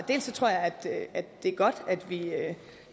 det er godt